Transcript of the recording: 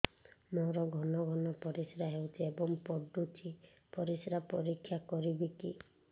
ମୋର ଘନ ଘନ ପରିସ୍ରା ହେଉଛି ଏବଂ ପଡ଼ୁଛି ପରିସ୍ରା ପରୀକ୍ଷା କରିବିକି